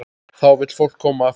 Þá vill fólk koma aftur.